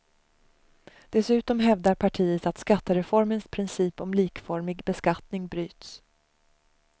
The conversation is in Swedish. Dessutom hävdar partiet att skattereformens princip om likformig beskattning bryts.